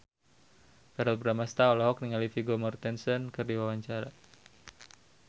Verrell Bramastra olohok ningali Vigo Mortensen keur diwawancara